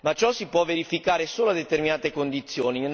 Ma ciò si può verificare solo a determinate condizioni.